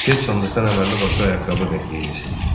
Get sandıqdan əməlli başlı ayaqqabı ver geyinsin.